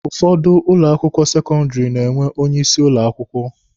Ụfọdụ ụlọ akwụkwọ sekọndịrị na-enwe onye isi ụlọ akwụkwọ.